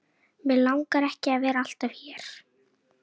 Mig langar ekki að vera alltaf hér.